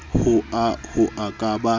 hoa ho a ka ba